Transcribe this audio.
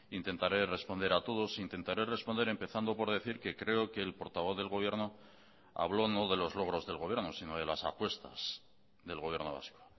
intentaré responder a todos intentaré responder empezando por decir que creo que el portavoz del gobierno habló no de los logros del gobierno sino de las apuestas del gobierno vasco